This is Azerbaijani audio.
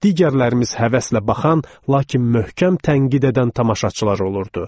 Digərlərimiz həvəslə baxan, lakin möhkəm tənqid edən tamaşaçılar olurdu.